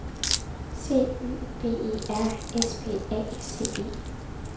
C Y B E R S P A C E